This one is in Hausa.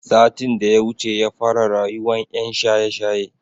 Satin daya wuce yafara rayuwan yan shaye shaye